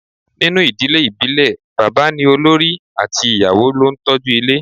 Ninu idile ibile baba ni olori ati iyawo lo n toju ile